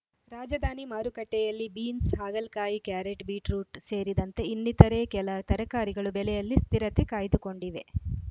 ರಾಜಧಾನಿ ಮಾರುಕಟ್ಟೆಯಲ್ಲಿ ಬೀನ್ಸ್‌ ಹಾಗಲಕಾಯಿ ಕ್ಯಾರೆಟ್‌ ಬೀಟ್‌ರೋಟ್‌ ಸೇರಿದಂತೆ ಇನ್ನಿತರೆ ಕೆಲ ತರಕಾರಿಗಳು ಬೆಲೆಯಲ್ಲಿ ಸ್ಥಿರತೆ ಕಾಯ್ದುಕೊಂಡಿವೆ